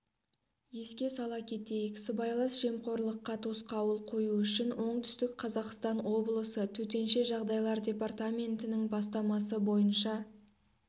еске сала кетейік сыбайлас жемқорлыққа тосқауыл қою үшін оңтүстік қазақстан облысы төтенше жағдайлар департаментінің бастамасы бойынша